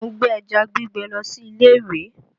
Mo gbé ẹja gbígbẹ lọ sí ilé ìwé